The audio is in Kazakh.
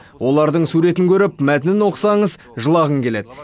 олардың суретін көріп мәтінін оқысаңыз жылағың келеді